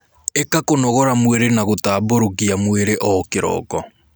Ika kũnogora mwĩrĩ na gutamburukia mwĩrĩ o kiroko